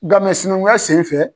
Nka sinankunya sen fɛ.